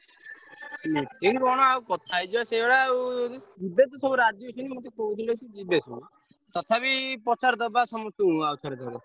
Meeting କଣ ଆଉ କଥା ହେଇଯିବା ସେଇଭଳିଆ ଆଉ, ଯିବେ ତ ସବୁ ରାଜି ଅଛନ୍ତି ମତେ କହୁଥିଲେ ସେ ଯିବେ ସେ। ତଥାପି ପଚାରି ଦବା ସମ~ ସ୍ତଙ୍କୁ~ ଆଉ ଥରେ ଥରେ।